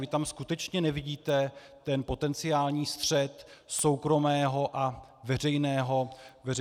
Vy tam skutečně nevidíte ten potenciální střet soukromého a veřejného zájmu?